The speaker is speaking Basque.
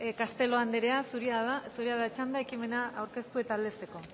castelo anderea zurea da txanda ekimena aurkeztu eta aldezteko